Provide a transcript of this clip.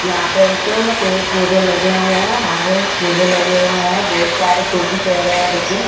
यहां पे एक पेड़ पौधे लगे हुए हैं हरे पौधे लगे हुए हैं बहुत सारे टोपी रहे हैं बच्चे--